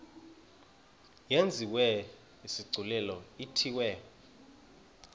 yenziwe isigculelo ithiwe